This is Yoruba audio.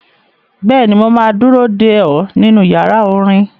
Bẹ́ẹ̀ni, mo máa ma dúró dè ọ́ nínú yàrá orin.